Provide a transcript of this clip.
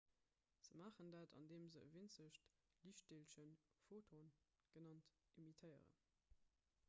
se maachen dat andeem se e winzegt liichtdeelchen photon genannt emittéieren